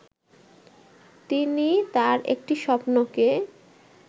তিনি তার একটি স্বপ্নকে